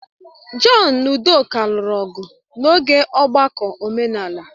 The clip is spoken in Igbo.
John na udoka lụrụ ọgụ n'oge ọgbakọ omenala.